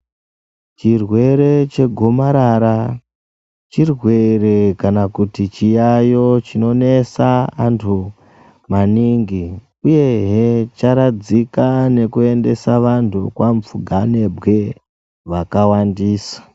Chirwere chegomarara chirwere kana kuti chiyayo chinonesa antu maningi, uyehe charadzika nekuendese antu kamupfuganebwe vakawandisa.